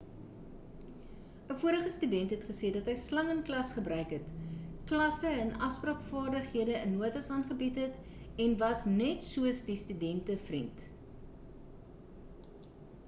‘n vorige student het gesê dat hy ‘slang in klas gebruik het klasse in afspraak-vaardighede in notas aangebied het en was net soos die studente-vriend.’